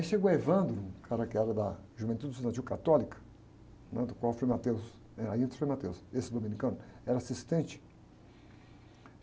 Aí chegou o, o cara que era da Juventude Estudantil Católica, né? Do qual o Frei era, aí entra o Frei, esse dominicano, era assistente.